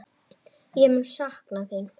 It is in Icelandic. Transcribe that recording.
Ég mun sakna þín!